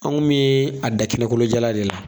Anw bɛ a da kɛnɛ kolo jalan de la